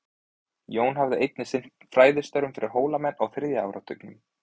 Jón hafði einnig sinnt fræðastörfum fyrir Hólamenn á þriðja áratugnum.